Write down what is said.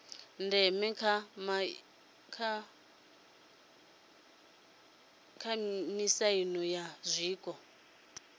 ndeme kha miaisano ya zwiko